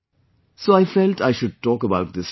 So I felt I should talk about this to you